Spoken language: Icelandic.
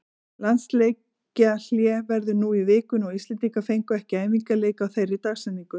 Landsleikjahlé verður nú í vikunni og Íslendingar fengu ekki æfingaleik á þeirri dagsetningu.